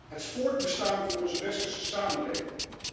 Het voortbestaan van onze westerse samenleving.